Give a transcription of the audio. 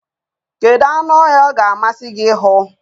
Kedu anụ ọhịa ọ ga-amasị gị ịhụ?